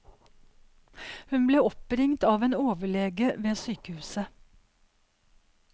Hun ble oppringt av en overlege ved sykehuset.